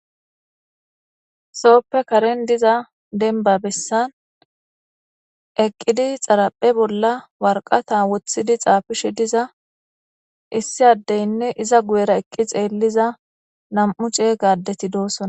sooppe karen diza denba bessan eqqidi xaraphe bolla warqata wothidi xaafishe diza issi addeynne iza guyera eqqi xeelliza nam7u ceega addeti doosona